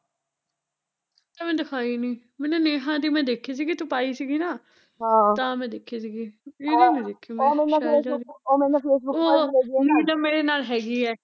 ਤੈ ਮੈਨੂੰ ਦਿਖਾਈ ਨੀ, ਮੈਨੇ ਨੇਹਾ ਦੀ ਮੈਂ ਦੇਖੀ ਸੀਗੀ ਤੂੰ ਪਾਈ ਸੀਗੀ ਨਾ ਆਹ ਤਾਂ ਮੈਂ ਦੇਖੀ ਸੀਗੀ ਉਹਦੀ ਨੀ ਦੇਖੀ ਮੈਂ ਸ਼ੈਲਜਾ ਦੀ ਓਹ, ਨੀਰਜਾ ਮੇਰੇ ਨਾਲ਼ ਹੈਗੀ ਐ